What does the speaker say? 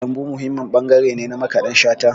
Kalangu muhimmin ɓangare ne na Makaɗan Shata.